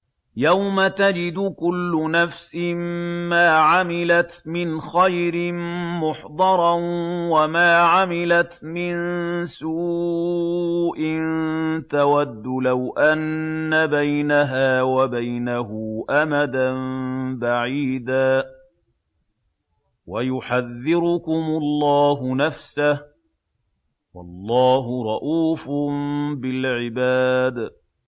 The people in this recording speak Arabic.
يَوْمَ تَجِدُ كُلُّ نَفْسٍ مَّا عَمِلَتْ مِنْ خَيْرٍ مُّحْضَرًا وَمَا عَمِلَتْ مِن سُوءٍ تَوَدُّ لَوْ أَنَّ بَيْنَهَا وَبَيْنَهُ أَمَدًا بَعِيدًا ۗ وَيُحَذِّرُكُمُ اللَّهُ نَفْسَهُ ۗ وَاللَّهُ رَءُوفٌ بِالْعِبَادِ